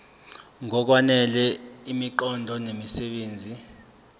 ngokwanele imiqondo nemisebenzi